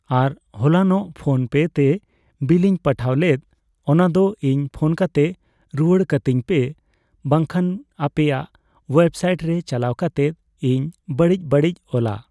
ᱟᱨ ᱦᱚᱞᱟᱱᱚᱜ ᱯᱷᱚᱱ ᱯᱮᱛᱮ ᱵᱮᱞᱮᱧ ᱯᱟᱴᱷᱟᱣ ᱞᱮᱫ ᱚᱱᱟᱫᱚ ᱤᱧ ᱯᱷᱳᱱ ᱠᱟᱛᱮ ᱨᱩᱣᱟᱹᱲ ᱠᱟᱹᱛᱤᱧᱯᱮ ᱵᱟᱝᱠᱷᱟᱱ ᱟᱯᱮᱭᱟᱜ ᱳᱭᱮᱵᱽ ᱥᱟᱭᱤᱴ ᱨᱮ ᱪᱟᱞᱟᱣ ᱠᱟᱛᱮᱫ ᱤᱧ ᱵᱟᱹᱲᱤᱡ ᱵᱟᱹᱲᱤᱡ ᱚᱞᱟ